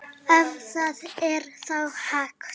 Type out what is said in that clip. Ef það er þá hægt.